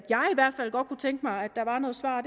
fald godt kunne tænke mig at der var nogle svar